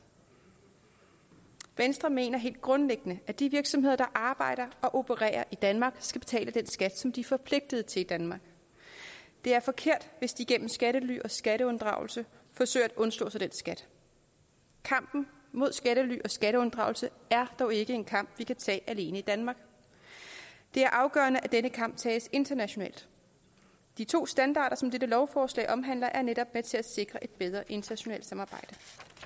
venstre mener helt grundlæggende at de virksomheder der arbejder og opererer i danmark skal betale den skat som de er forpligtet til i danmark det er forkert hvis de igennem skattely og skatteunddragelse forsøger at undslå sig den skat kampen mod skattely og skatteunddragelse er dog ikke en kamp vi kan tage alene i danmark det er afgørende at denne kamp tages internationalt de to standarder som dette lovforslag omhandler er netop med til at sikre et bedre internationalt samarbejde